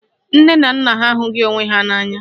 Nne na nna ha ahụghị onwe ha n'anya